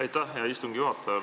Aitäh, hea istungi juhataja!